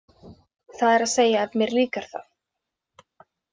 Það er að segja ef mér líkar það.